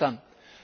Einverstanden!